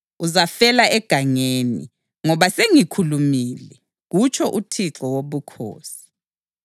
Uzafela egangeni, ngoba sengikhulumile, kutsho uThixo Wobukhosi.